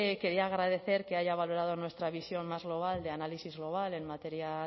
quería agradecer que haya valorado nuestra visión más global de análisis global en materia